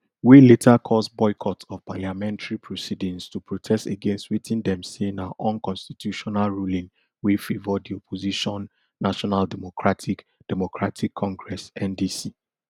wey later cause boycott of parliamentary proceedings to protest against wetin dem say na unconstitutional ruling wey favour di opposition national democratic democratic congress ndc